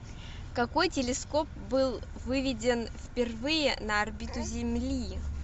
какой телескоп был выведен впервые на орбиту земли